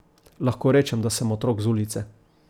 Lahko rečem, da sem otrok z ulice.